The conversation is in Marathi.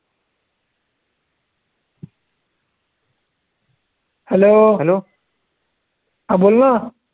Hello हा बोलना